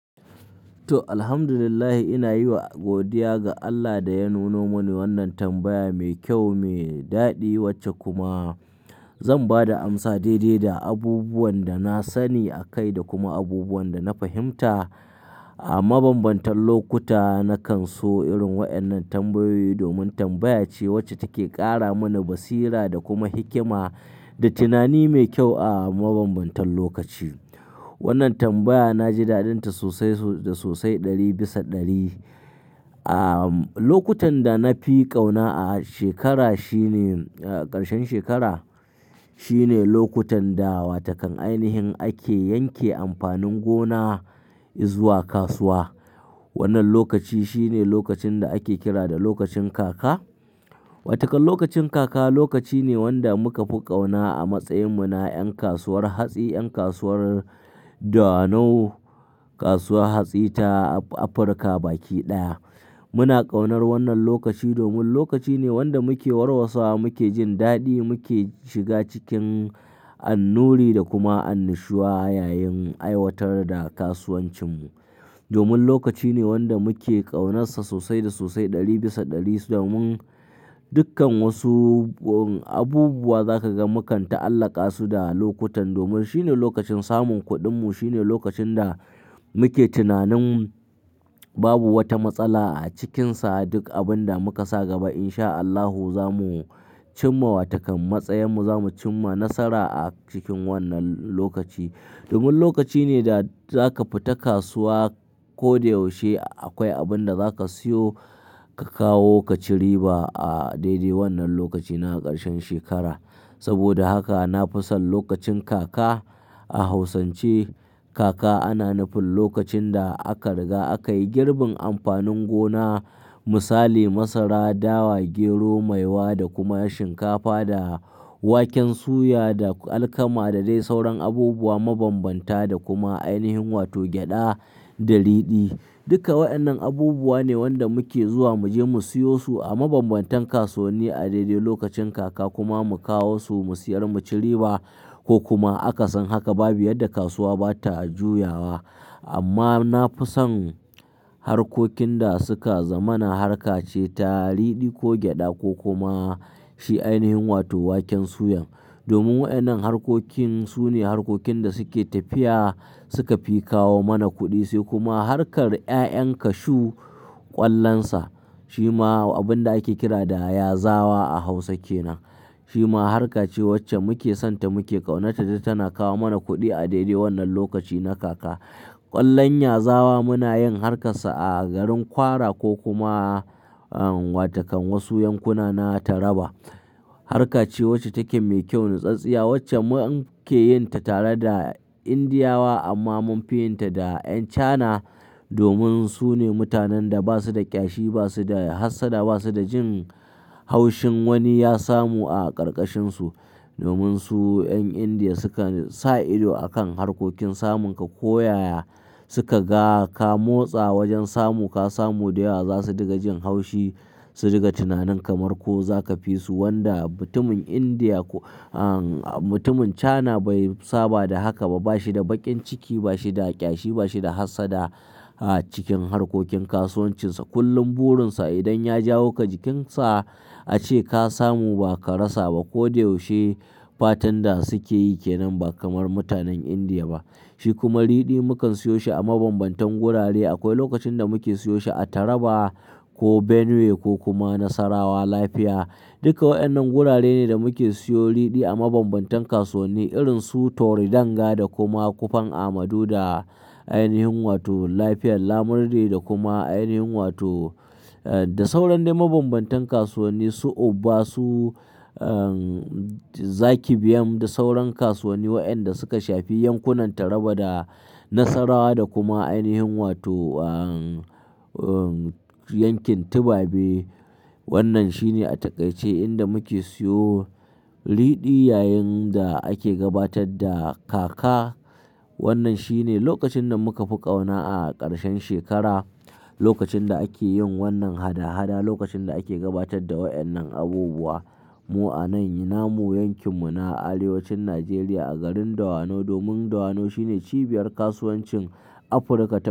To, Alhamdulillah ina yiwa godiya ga Allah da ya nuno mani wannan tambaya mai kyau, mai daɗi wacce kuma zan ba da amsa daidai da abubuwan da na sani a kai da kuma abubuwan da na fahimta. A mabambantan lokuta na kan so irin waɗannan tambayoyi domin tambaya ce wacce take ƙara mana basira da kuma hikima da tunani mai kyau a mabambantan lokaci. Wannan tambaya na ji daɗinta sosai da sosai ɗari bisa ɗari. A lokutan da na fi ƙauna a shekara shine ƙarshen shekara. Shi ne lokutan da wata kan ainihin ake yanke amfanin gona izuwa kasuwa. Wannan lokaci shi ne lokacin da ake kira da lokacin kaka. Watakan lokacin kaka lokaci ne wanda muka fi ƙauna a matsayin mu na ƴan kasuwar hatsi, ƴan kasuwar Dawanau, kasuwar hatsi ta Afirka baki ɗaya. Muna ƙaunar wannan lokaci domin lokaci ne wanda muke warwasawa, muke jin daɗi, muke shiga cikin annuri da kuma annushuwa yayin aiwatar da kasuwancinmu. Domin lokaci ne wanda muke ƙaunarsa sosai da sosai ɗari bisa ɗari sannan dukkan wasu abubuwa za ka ga mu kan ta'allaƙa su da lokutan domin shi ne lokacin samun kuɗinmu. Shi ne lokacin da muke tunanin babu wata matsala a cikinsa. Duk abin da muka sa gaba in sha Allahu zamu cimma wata kan matsayinmu, zamu cimma nasara a cikin wannan lokaci. Domin lokaci ne da za ka fita kasuwa ko da yaushe akwai abin da za ka siyo ka kawo ka ci riba a daidai wannan lokaci na ƙarshen shekara. Saboda haka na fi son lokacin kaka. A Hausance kaka ana nufin lokacin da aka riga aka yi girbin amfanin gona misali masara, dawa, gero, maiwa da kuma shinkafa da waken suya da alkama da dai sauran abubuwa mabambanta da kuma ainihin wato gyada da ridi. Duka waɗannan abubuwa ne wanda muke zuwa mu je mu siyo su a mabambantan kasuwanni a daidai lokacin kaka kuma mu kawo su mu siyar mu ci riba ko kuma akasin haka babu yarda kasuwa ba ta juyawa. Amma na fi son harkokin da suka zama na harka ce ta ridi ko gyada ko kuma shi ainihin wato waken suyan. Domin waɗannan harkokin su ne harkokin da suke tafiya suka fi kawo mana kuɗi sai kuma harkar ƴaƴan kashu ƙwallonsa shi ma abin da ake kira da yazawa a Hausa ke nan. Shi ma harka ce wacce muke sonta muke ƙaunata don tana kawo mana kuɗi a daidai wannan lokaci na kaka. Ƙwallon yazawa muna yin harkarsa a garin kwara ko kuma wata kan wasu yankuna na Taraba. Harka ce wacce take mai kyau, natsaɗtsiya wacce mu ake yin ta tare da Indiyawa amma mun fi yin ta da ƴan Cana domin su ne mutanen da ba su da ƙyashi, ba su da hassada, ba su da jin haushin wani ya samu a ƙarƙashinsu. Domin su ƴan Indiya sukan sa ido a kan harkokin samun ka ko ya ya suka ga ka motsa wajen samu ka samu da yawa za su diga jin haushi su diga tunanin kamar ko za ka fisu wanda mutumin Indiya, mutumin Cana bai saba da haka ba. Ba shi da baƙin ciki, ba shi da ƙyashi, ba shi da hassada a cikin harkokin kasuwancinsa. Kullum burinsa idan ya jawo ka jikinsa ya ce ka samu ba ka rasa ba ko da yaushe fatan da suke yi ke nan ba kamar mutanen Indiya ba. Shi kuma ridi mukan siyo shi a mabambantan gurare. Akwai lokacin da muke siyo shi a Taraba ko Benue ko kuma Nasarawa, Lafiya. Duka waɗannan gurare ne da muke siyo ridi a mabambantan kasuwanni irin su Toridanga da kuma Kofan Amadu da ainihin wato Lafiyan Lamurde da kuma ainihin wato da sauran dai mabambantan kasuwanni su Uba, su Zaki Biam da sauran kasuwanni waɗanda suka shafi yankunan Taraba da Nasarawa da kuma ainihin wato yankin Tubabe. Wannan shi ne a taƙaice inda muke siyo ridi yayin da ake gabatar da kaka. Wannan shi ne lokacin da muka fi ƙauna a ƙarshen shekara, lokacin da ake yin wannan hada-hada, lokacin da ake gabatar da waɗannan abubuwa. Mu'anayi namu yankin mu na arewacin Najeriya a garin Dawanau domin Dawanau shine cibiyar kasuwancin Afirka ta.